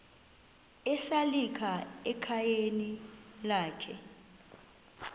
esalika ekhayeni lakhe